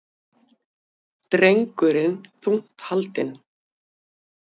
Drengurinn þungt haldinn